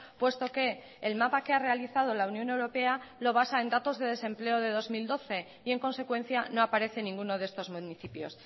puesto que el mapa que ha realizado la unión europea lo basa en datos de desempleo de dos mil doce y en consecuencia no aparece ninguno de estos municipios